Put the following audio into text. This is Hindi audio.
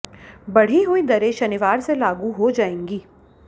बढ़ी हुई दरें शनिवार से लागू हो जाएंगी